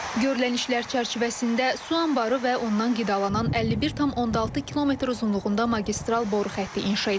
Görülən işlər çərçivəsində su anbarı və ondan qidalanan 51,6 km uzunluğunda magistral boru xətti inşa edilib.